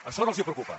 això no els preocupa